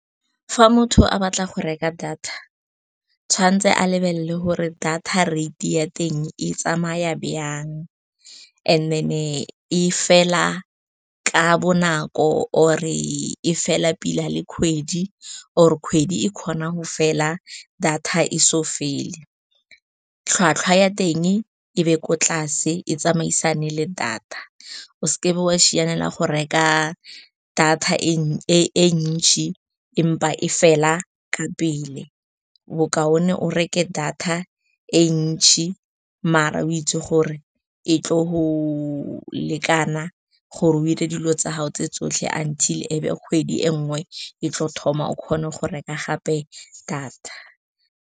Fa motho a batla go reka data, tshwanetse a lebelele gore data rate ya teng e tsamaya jang, and then e fela ka bonako, or-e e fela pila le kgwedi, or kgwedi e kgona go fela data e so fele. Tlhwatlhwa ya teng e be ko tlase, e tsamaisane le data. O seke wa sianela go reka data e ntsi empa e fela ka pele. Bo kaone o reke data e ntsi, maar o itse gore e tlo go lekana gore o dire dilo tsa gago tse tsotlhe until ebe kgwedi e nngwe e tlo thoma, o kgone go reka gape data.